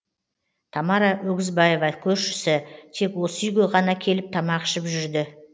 тамара өгізбаева көршісі тек осы үйге ғана келіп тамақ ішіп жүрді